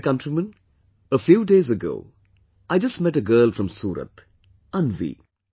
My dear countrymen, a few days ago, I just met a girl from Surat, Anvi